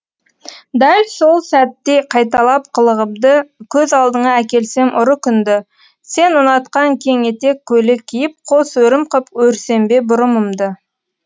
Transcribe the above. дәл сол сәттей қайталап қылығымды көз алдыңа әкелсем ұры күнді сен ұнатқан кең етек көйлек киіп қос өрім қып өрсем бе бұрымымды